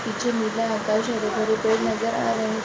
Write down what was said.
पीछे नीला रंग का जो हरे-भरे पेड़ नजर आ रहे हैं।